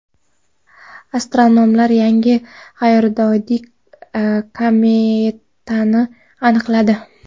Astronomlar yangi g‘ayrioddiy kometani aniqladi.